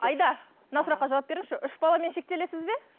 аида мына сұраққа жауап беріңізші үш баламен шектелесіз бе